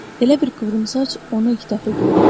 Elə bil Qıvrımsaç onu ilk dəfə görürdü.